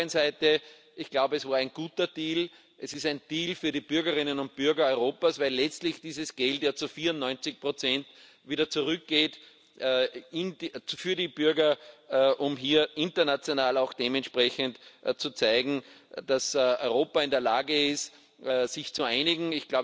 auf der anderen Seite ich glaube, es war ein guter Deal. Es ist ein Deal für die Bürgerinnen und Bürger Europas, weil letztlich dieses Geld ja zu 94 wieder zurückgeht für die Bürger, um hier international auch dementsprechend zu zeigen, dass Europa in der Lage ist, sich zu einigen.